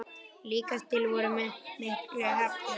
Líkast til vorum við miklu heppnari.